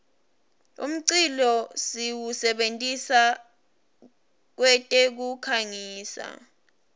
umculo siwusebentisa kwetekukhangisa